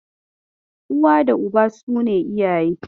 Uwa da Uba su ne iyaye.